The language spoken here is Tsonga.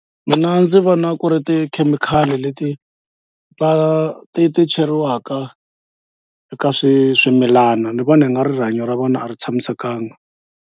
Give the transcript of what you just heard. Mina ndzi vona ku ri tikhemikhali leti va ti ti cheriwaka eka swi swimilana ni vona i nga ri rihanyo ra vona a ri tshamisekanga.